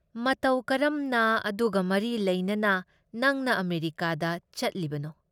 ꯃꯇꯧ ꯀꯔꯝꯅ ꯑꯗꯨꯒ ꯃꯔꯤ ꯂꯩꯅꯅ ꯅꯪꯅ ꯑꯃꯦꯔꯤꯀꯥꯗ ꯆꯠꯂꯤꯕꯅꯣ?